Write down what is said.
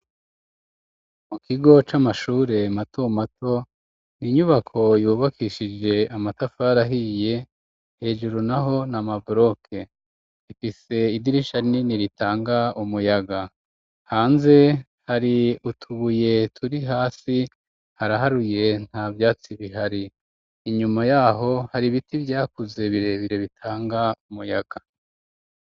Mu kigo c'amashure mato mato n'inyubako yubakishije amatafari ahiye hejuru naho na maboke ifise idirisha rinini ritanga umuyaga hanze hari utubuye turi hasi haraharuye nta vyatsi bihari inyuma yaho hari biti vyakuze birebire bitanga umuyaga.